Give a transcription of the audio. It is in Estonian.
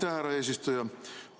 Aitäh, härra eesistuja!